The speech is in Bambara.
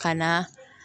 Ka na